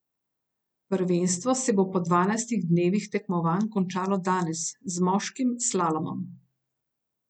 Prvenstvo se bo po dvanajstih dnevih tekmovanj končalo danes z moškim slalomom.